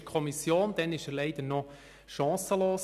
Damals war er leider noch chancenlos.